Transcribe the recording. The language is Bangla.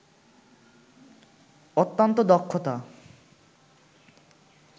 অত্যন্ত দক্ষতা